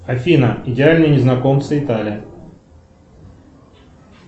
афина идеальные незнакомцы италия